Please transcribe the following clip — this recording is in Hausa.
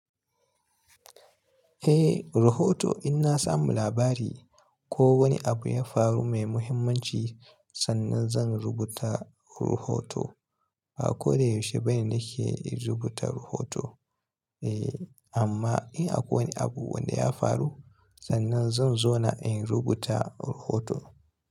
Eh, rahoto in na samu labari ko wani abu ya faru mai muhimmanci sannan zan rubuta rahoto. Ba ko da yaushe bane nake in rubuta rahoto. Eh, amma in akwai wani abu wanda ya faru sannan zan zauna in rubuta rahoto.